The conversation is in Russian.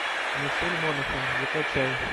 мишель монахэн закачай